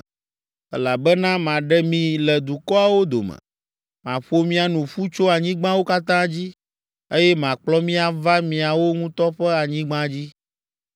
“Elabena maɖe mi le dukɔawo dome, maƒo mia nu ƒu tso anyigbawo katã dzi, eye makplɔ mi ava miawo ŋutɔ ƒe anyigba dzi.